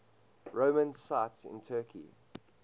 roman sites in turkey